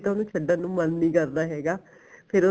ਤਾਂ ਉਹਨੂੰ ਛੱਡਣ ਨੂੰ ਮਨ ਨਹੀਂ ਕਰਦਾ ਹੈਗਾ ਫੇਰ ਉਹ